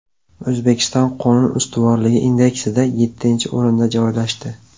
O‘zbekiston qonun ustuvorligi indeksida yettinchi o‘rinda joylashdi.